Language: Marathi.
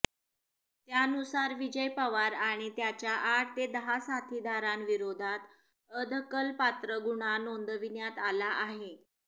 त्यानुसार विजय पवार आणि त्याच्या आठ ते दहा साथीदारांविरोधात अदखलपात्र गुन्हा नोंदविण्यात आला आहे